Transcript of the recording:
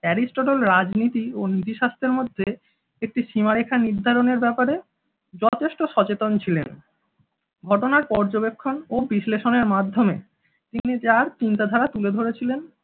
Aristotle রাজনীতি ও নীতিশাস্ত্রের মধ্যে একটি সীমারেখা নির্ধারণের ব্যাপারে যথেষ্ট সচেতন ছিলেন। ঘটনার পর্যবেক্ষণ ও বিশ্লেষণের মাধ্যমে তিনি যার চিন্তা ধারা তুলে ধরেছিলেন